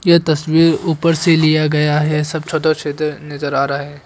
ये तस्वीर ऊपर से लिया गया है सब छतर छीतर नजर आ रहा है।